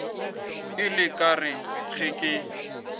ile ka re ge ke